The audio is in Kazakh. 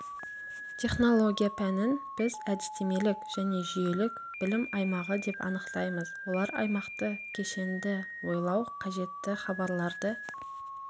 технология пәнін біз әдістемелік және жүйелік білім аймағы деп анықтаймыз олар аймақты кешенді ойлау қажетті хабарларды